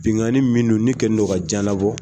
Binkani minnu kɛlen bɛ ka diyan labɔ.